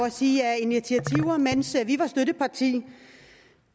at sige at af initiativer mens vi var støtteparti